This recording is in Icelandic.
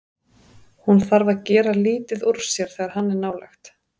Hún þarf að gera lítið úr sér þegar hann er nálægt.